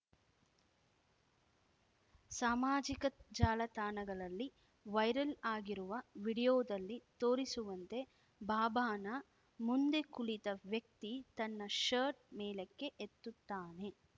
ಸಾಮಾಜಿಕ ಜಾಲತಾಣಗಳಲ್ಲಿ ವೈರಲ್‌ ಆಗಿರುವ ವಿಡಿಯೋದಲ್ಲಿ ತೋರಿಸುವಂತೆ ಬಾಬಾನ ಮುಂದೆ ಕುಳಿತ ವ್ಯಕ್ತಿ ತನ್ನ ಶರ್ಟ್‌ ಮೇಲಕ್ಕೆ ಎತ್ತುತ್ತಾನೆ